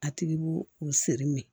A tigi b'u u siri mɛ